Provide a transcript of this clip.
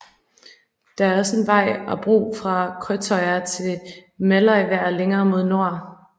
Det er også en vej og bro fra Krøttøya til Meløyvær længere mod nord